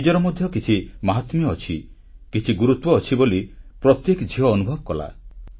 ନିଜର ମଧ୍ୟ କିଛି ମହାତ୍ମ୍ୟ ଅଛି କିଛି ଗୁରୁତ୍ୱ ଅଛି ବୋଲି ପ୍ରତ୍ୟେକ ଝିଅ ଅନୁଭବ କଲା